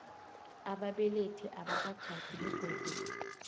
ababelethi abakatjhadi begodu